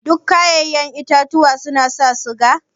Duk kayaƴen itatuwa suna sa siga?